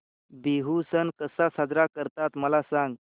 बिहू सण कसा साजरा करतात मला सांग